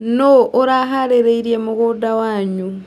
Nũu araharĩirie mũgũnda wanyu.